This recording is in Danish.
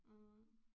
Mh